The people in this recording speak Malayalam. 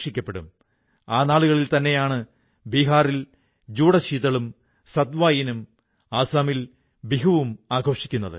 പ്രിയപ്പെട്ട ദേശവാസികളേ ഇന്ന് മൻ കീ ബാത്തിൽ ജനങ്ങളുടെ അസാധാരണ നേട്ടങ്ങളെക്കുറിച്ചും